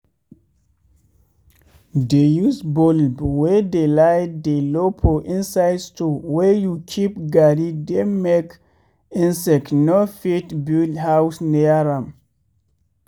dey use bulb wey de light dey low for inside store wey you keep garri dem make insect no fit build house near am.